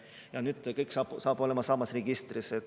Ja nüüd saab kõik olema samas registris.